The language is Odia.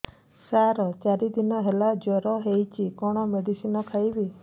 ସାର ଚାରି ଦିନ ହେଲା ଜ୍ଵର ହେଇଚି କଣ ମେଡିସିନ ଖାଇବି